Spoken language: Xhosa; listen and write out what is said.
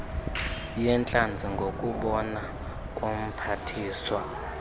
yeentlanzi ngokubona komphathiswa